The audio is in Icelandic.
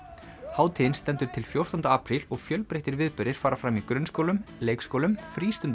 hátíðin stendur til fjórtánda apríl og fjölbreyttir viðburðir fara fram í grunnskólum leikskólum